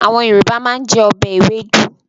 Àwọn Yorùbá máa ń jẹ ọbẹ̀ ewédú.